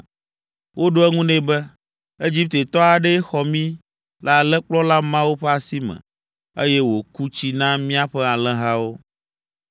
Woɖo eŋu nɛ be, “Egiptetɔ aɖee xɔ mí le alẽkplɔla mawo ƒe asi me, eye wòku tsi na míaƒe alẽhawo.”